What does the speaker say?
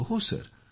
होहो